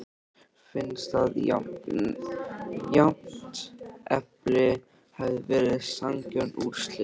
Finnst að jafntefli hefði verið sanngjörn úrslit?